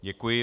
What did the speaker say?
Děkuji.